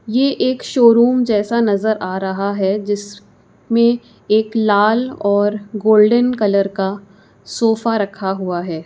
ये एक शोरूम जैसा नजर आ रहा है जिस में एक लाल और गोल्डन कलर का सोफा रखा हुआ है।